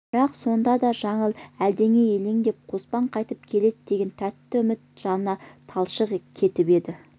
бірақ сонда да жаңыл әлденеге елеңдеп қоспан қайтып келер деген тәтті үмітті жанына талшық кетіп еді